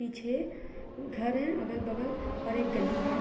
पीछे घर है अगल-बगल और एक गली है।